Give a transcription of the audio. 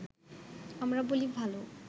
আমরা বলি ভালো